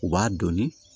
U b'a dɔnni